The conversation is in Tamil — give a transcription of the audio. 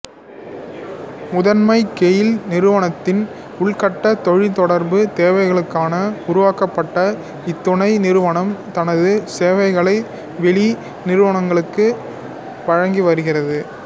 முதன்மையாக கெயில் நிறுவனத்தின் உள்கட்ட தொலைத்தொடர்பு தேவைகளுக்காக உருவாக்கப்பட்ட இத்துணை நிறுவனம் தனது சேவைகளை வெளி நிறுவனங்களுக்கும் வழங்கி வருகிறது